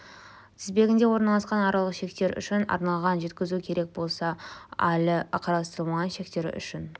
тізбегінде орналасқан аралық шектер үшін арналған жеткізу керек басқа әлі қарастырылмаған шектері үшін